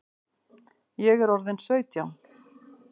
Ég er orðin sautján!